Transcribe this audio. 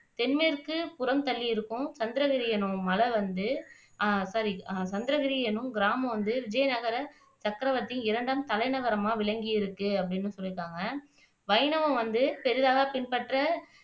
தென்மேற்குபுறம் தள்ளி இருக்கும் சந்திரகிரி என்னும் மலை வந்து அஹ் சாரி சந்திரகிரி என்னும் கிராமம் வந்து விஜயநகர சக்கிரவர்த்தியின் இரண்டாம் தலைநகரமா விளங்கி இருக்கு அப்படின்னு சொல்லிருக்காங்க வைணவம் வந்து பெரிதாக பின்பற்ற